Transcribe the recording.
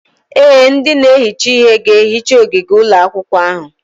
Ee, ndị na-ehicha ihe ga-ehicha ogige ụlọ akwụkwọ ahụ.